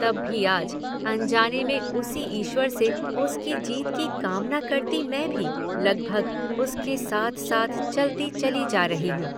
तब भी आज अनजाने में उसी ईश्वर से उसकी जीत की कामना करती मैं भी लगभग उसके साथ–साथ चलती चली जा रही हूं।